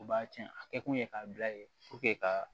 U b'a cɛn a kɛ kun ye k'a bila yen ka